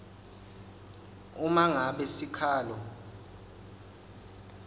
uma ngabe sikhalo